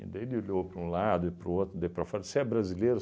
Daí ele olhou para um lado e para o outro, daí para fora, disse, você é brasileiro?